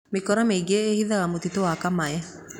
Mĩkora mĩingĩ ĩĩhithaga mũtitũ wa Kamae